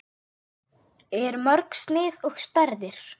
Eru mörg snið og stærðir?